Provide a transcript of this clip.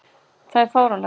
Það er fáránlegt.